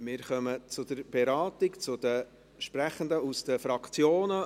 Wir kommen zur Beratung und somit zu den Fraktionssprechenden.